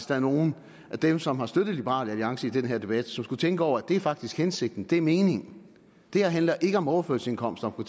der er nogle af dem som har støttet liberal alliance i den her debat som skulle tænke over at det faktisk er hensigten at det er meningen det her handler ikke om overførselsindkomster om